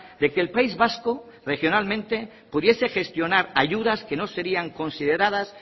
de que el país vasco regionalmente pudiese gestionar ayudas que no serían consideradas